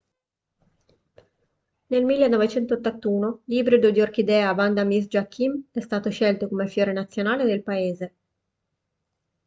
nel 1981 l'ibrido di orchidea vanda miss joaquim è stato scelto come fiore nazionale del paese